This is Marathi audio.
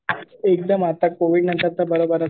एकदम आता कोविडनंतर तर बरोबरच चालू आहे,